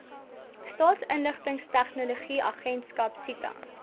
staatsinligtingstegnologie agentskap sita